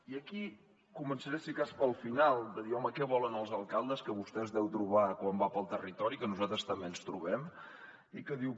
i aquí començaré si de cas pel final de dir home què volen els alcaldes que vostè es deu trobar quan va pel territori que nosaltres també ens hi trobem i que diu